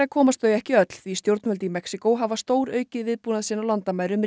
komast þau ekki öll því stjórnvöld í Mexíkó hafa stóraukið viðbúnað sinn á landamærum